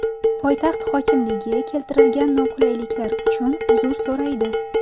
Poytaxt hokimligi keltirilgan noqulayliklar uchun uzr so‘raydi.